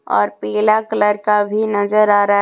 और पीला कलर का भी नजर आ रहा है।